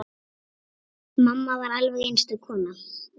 Mamma var alveg einstök kona.